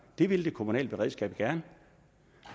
det vil det kommunale beredskab gerne